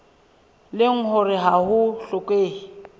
leng hore ha ho hlokehe